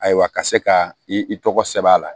Ayiwa ka se ka i tɔgɔ sɛbɛn a la